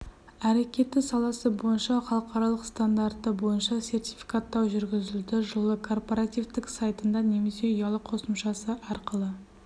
әрекеті саласы бойынша халықаралық стандарты бойынша сертификаттау жүргізілді жылы корпоративтік сайтында немесе ұялы қосымшасы арқылы